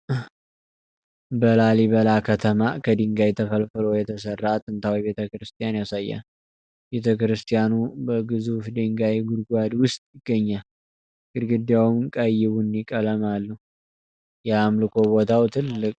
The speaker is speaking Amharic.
በላሊበላ ከተማ ከድንጋይ ተፈልፍሎ የተሠራ ጥንታዊ ቤተ ክርስቲያንን ያሳያል። ቤተ ክርስቲያኑ በግዙፍ ድንጋይ ጉድጓድ ውስጥ ይገኛል፣ ግድግዳውም ቀይ-ቡኒ ቀለም አለው። የአምልኮ ቦታው ትልቅ ታሪካዊ ዋጋ አለው?